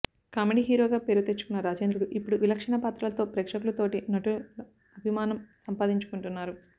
comedy hero గా పేరు తెచ్చుకున్న రాజేంద్రుడు ఇప్పుడు విలక్షణ పాత్రలతో ప్రేక్షకులు తోటి నటుల అభిమానం సంపాదించుకుంటున్నారు